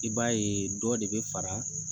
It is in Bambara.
I b'a ye dɔ de bɛ fara